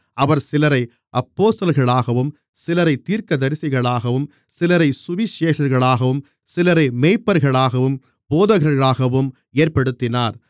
அவர் சிலரை அப்போஸ்தலர்களாகவும் சிலரைத் தீர்க்கதரிசிகளாகவும் சிலரைச் சுவிசேஷகர்களாகவும் சிலரை மேய்ப்பர்களாகவும் போதகர்களாகவும் ஏற்படுத்தினார்